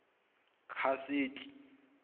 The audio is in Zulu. kaseti